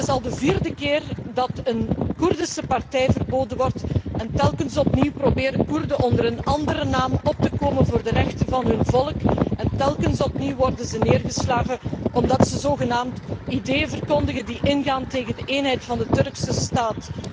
Het is al de vierde keer dat een Koerdische partij verboden wordt en telkens opnieuw proberen Koerden onder een andere naam op te komen voor de rechten van hun volk en telkens opnieuw worden ze neergeslagen, omdat ze zogenaamd ideeën verkondigen die ingaan tegen de eenheid van de Turkse staat.